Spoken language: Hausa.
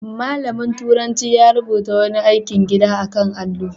Malamin turanci ya rubuta wani aikin gida a kan allo.